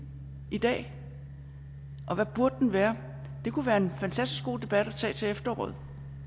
i dag og hvad burde den være det kunne være en fantastisk god debat at tage til efteråret